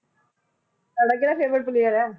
ਤੁਹਾਡਾ ਕਿਹੜਾ favourite player ਆ?